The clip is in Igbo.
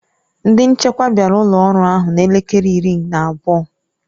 Ndị nchekwa bịara ụlọ ọrụ ahụ na elekere iri na abụọ.